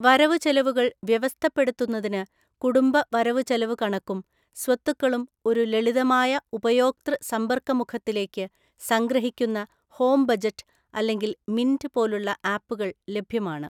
വരവു ചെലവുകള്‍ വ്യവസ്ഥപ്പെടുത്തുന്നതിന് കുടുംബ വരവുചെലവുകണക്കും സ്വത്തുക്കളും ഒരു ലളിതമായ ഉപയോക്തൃ സമ്പര്‍ക്കമുഖത്തിലേക്ക് സംഗ്രഹിക്കുന്ന 'ഹോം ബജറ്റ്' അല്ലെങ്കിൽ 'മിന്റ്' പോലുള്ള ആപ്പുകൾ ലഭ്യമാണ്.